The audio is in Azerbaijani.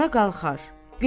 Rəna qalxar,